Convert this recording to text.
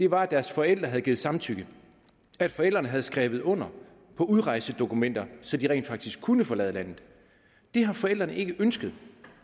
var at deres forældre havde givet samtykke at forældrene havde skrevet under på udrejsedokumenter så de rent faktisk kunne forlade landet det har forældrene ikke ønsket